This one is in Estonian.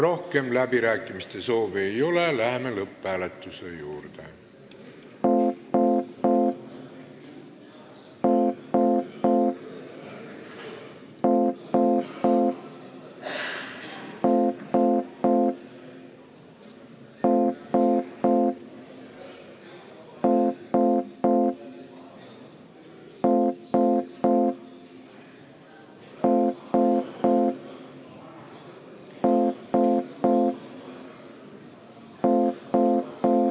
Rohkem läbirääkimiste soovi ei ole, läheme lõpphääletuse juurde.